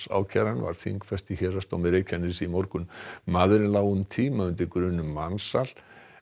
ákæran var þingfest í Héraðsdómi Reykjaness í morgun maðurinn lá um tíma undir grun um mansal